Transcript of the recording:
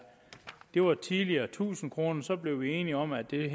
det var tidligere tusind kroner så blev vi enige om at det